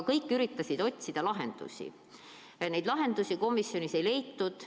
Kõik üritasid otsida lahendusi, aga neid lahendusi komisjonis ei leitud.